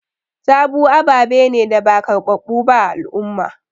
Taboo aɓaɓe ne da ba karbaɓu ɓa a al'umma.